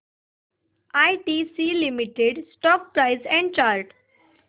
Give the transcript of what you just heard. ITC limited stock price and chart